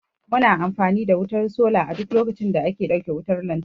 Mu na amfani da wutar sola a duk lokacin da aka dauke wutar lantarki